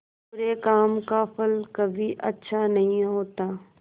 बुरे काम का फल कभी अच्छा नहीं होता